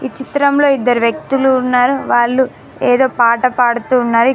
ఈ చిత్రంలో ఇద్దరు వ్యక్తులు ఉన్నారు వాళ్ళు ఏదో పాట పాడుతూ ఉన్నారు.